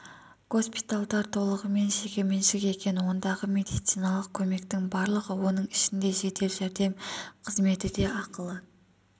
госпитальдар толығымен жекеменшік екен ондағы медициналық көмектің барлығы оның ішінде жедел жәрдем қызметі де ақылы